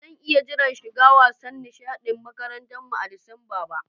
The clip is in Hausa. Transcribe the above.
Ba zan iya jira shigan wasan nishadin makarantan mu a'Disamba ba.